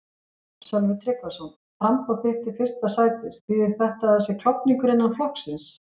Sölvi Tryggvason: Framboð þitt til fyrsta sætis, þýðir þetta að það sé klofningur innan flokksins?